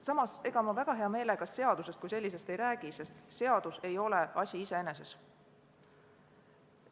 Samas, ega ma väga hea meelega seadusest kui sellisest ei räägi, sest seadus ei ole asi iseeneses.